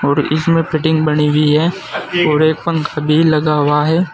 और इसमें फिटिंग बनी हुई है और एक पंखा भी लगा हुआ है।